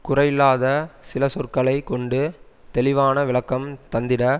குறையில்லாத சில சொற்களை கொண்டு தெளிவான விளக்கம் தந்திட